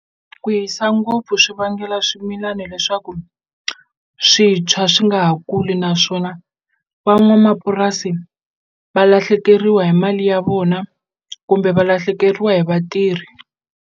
Ku hisa ngopfu swi vangela swimilana leswaku swi tshwa swi nga ha kuli naswona van'wamapurasi va lahlekeriwa hi mali ya vona kumbe valahlekeriwa hi vatirhi.